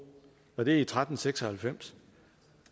og det er i tretten seks og halvfems